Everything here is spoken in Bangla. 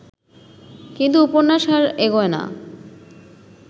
কিন্তু উপন্যাস আর এগোয় না